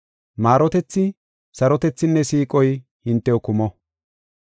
Maarotethi, sarotethinne siiqoy hintew kumo.